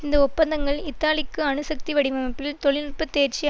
இந்த ஒப்பந்தங்கள் இத்தாலிக்கு அணுசக்தி வடிவமைப்பில் தொழில்நுட்ப தேர்ச்சி